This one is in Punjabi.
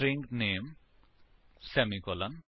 string name semicolon